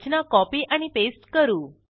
रचना copy आणि paste करू